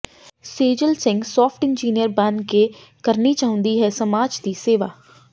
ਸੇਜਲ Singh soft engineer ਬਣ ਕੇ ਕਰਨੀ ਚਾਹੁੰਦੀ ਹੈ ਸਮਾਜ ਦੀ ਸੇਵਾ